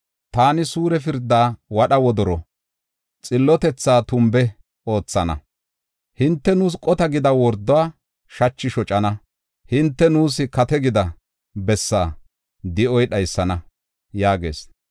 Taani suure pirdaa wadha wodoro, xillotethaa tumbe oothana. Hinte, “Nuus qota gida wordo shachay shocana; hinte nuus kate gida bessaa di7oy dhaysana” yaagees.